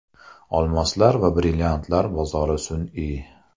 Olmoslar va brilliantlar bozori sun’iy.